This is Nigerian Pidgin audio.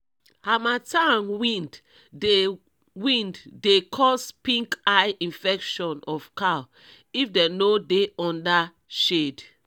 hamattan wind dey wind dey cause pink eye infection of cow if dem no dey under shade